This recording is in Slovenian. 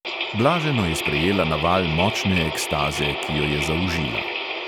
Blaženo je sprejela naval močne ekstaze, ki jo je zaužila.